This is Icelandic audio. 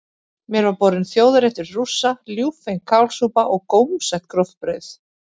Mér var borinn þjóðarréttur Rússa, ljúffeng kálsúpa og gómsætt gróft brauð.